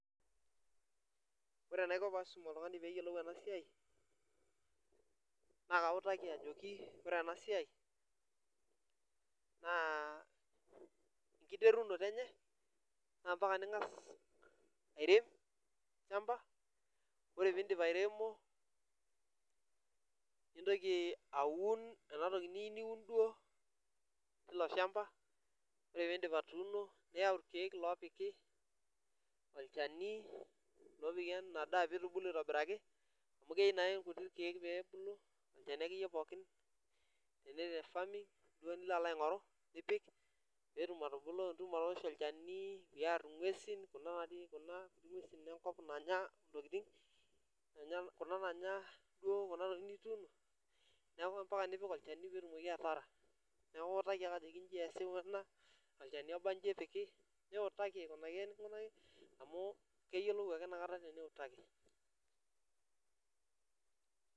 Ore enaiko peisum oltungani peyiolou enasiai na kautaki ajoki ore enasia na enkiterukoto enye na ambaka ningasa arem olchamba ore pindip airemo nintoki aum enatoki niyieu niun duo tiloshamba ore pindip atuuno niyau irkiek lopiki olchani lopiki emadaa peitubulu aitobiraki amu keyieu irkuti kiek pebulu nilonaingoru nipik petum atubulu nioshi olchani niar ngwesi, kuna ngwesu enkop nanya ntokitin kuna nanya enatoki nituuno neaku ambaka nipik olchani peyie itumoki ataara neaku iutaki ake ajoki ena ikuni iji ikunakini olchani niutaki eninko amu keyiolou ake eniutaki.